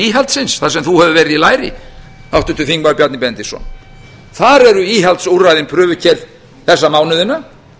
íhaldsins þar sem þú hefur verið í læri háttvirtur þingmaður bjarni benediktsson þar eru íhaldsúrræðin prufukeyrð þessa mánuðina